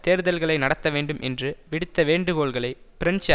தேர்தல்களை நடத்தவேண்டும் என்று விடுத்த வேண்டுகோள்களை பிரெஞ்சு